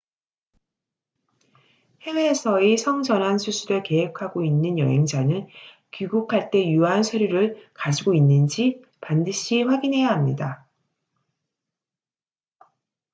해외에서의 성전환 수술을 계획하고 있는 여행자는 귀국할 때 유효한 서류를 가지고 있는지 반드시 확인해야 합니다